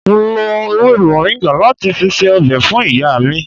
Mo lo ewé moringa láti fi ṣe ọbẹ̀ fún ìyá mi